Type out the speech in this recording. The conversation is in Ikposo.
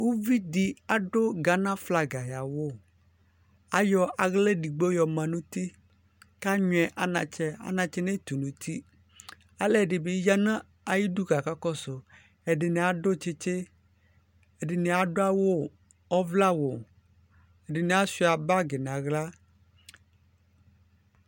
Uvi di adu gana flaga yawu ayɔ aɣla edigbo yɔma nu uti ku anyuiɛ anatsɛ anatsɛ yɛ netu nu uti alu ɛdi bi ya nu ayu udu ku akakɔsu ɛdini adu tsitsi ɛdini adu awu ɔvlɛawu ɛdini asuia bag nu aɣla